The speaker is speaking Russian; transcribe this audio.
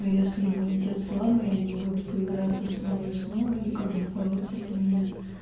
если иммунитет слабый они будут появляться снова и снова и как бороться с ними